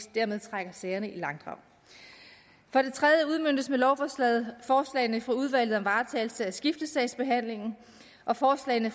trækker sagerne i langdrag for det tredje udmøntes med lovforslaget forslagene fra udvalget om varetagelse at skiftesagsbehandlingen og forslagene